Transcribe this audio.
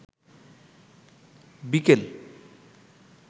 বিকেল